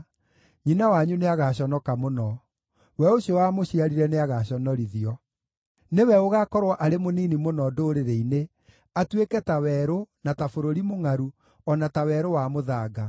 nyina wanyu nĩagaconoka mũno; we ũcio wamũciarire nĩagaconorithio. Nĩwe ũgaakorwo arĩ mũnini mũno ndũrĩrĩ-inĩ, atuĩke ta werũ, na ta bũrũri mũngʼaru, o na ta werũ wa mũthanga.